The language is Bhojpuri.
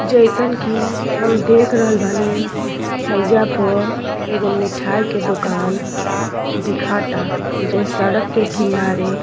जइसन की हम देख रहल बानी हईजा पर एगो मिठाई के दुकान दिखाता जो सड़क के किनारे --